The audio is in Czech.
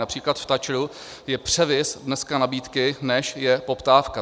Například v TAČR je převis dneska nabídky, než je poptávka.